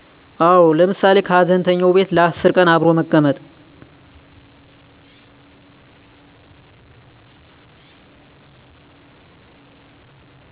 አዎ ለምሳሌ ከሀዘንተኛው ቤት ለ10 ቀን አብሮ መቀመጥ